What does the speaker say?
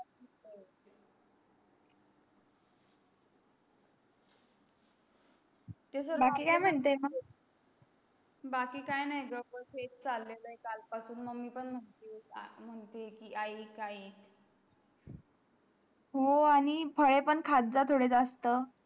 बाकी काही म्हणते मग बाकी काही नाही ग बॅग हेच चला आहे बॅग काळ पासून मी पण मानते आहे म्हणते आहे कि आइक आइक हो आणि फळ पण खात चं थोडे जास्त